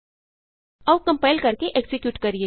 ਆਉ ਕੰਪਾਇਲ ਕਰਕੇ ਐਕਜ਼ੀਕਿਯੂਟ ਕਰੀਏ